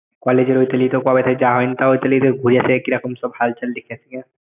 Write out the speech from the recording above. Collage এর ওই তলি তো কবে থেকে যাওয়া হয়নি তা ওই তলিতে ঘুরে আসি কিরকম হালচাল দেখে আসি গে।